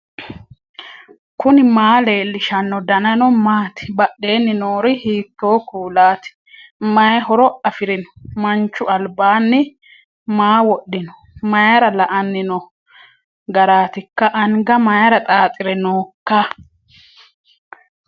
knuni maa leellishanno ? danano maati ? badheenni noori hiitto kuulaati ? mayi horo afirino ? manchu albaho maa wodhino mayra la''anni noo garaatikka anga mayra xaaxire nooikka